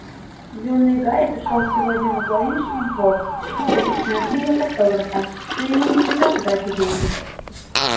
юный гарри пришёл сегодня во флориш и блоттс купить мою книгу с автографом но ему не придётся тратить деньги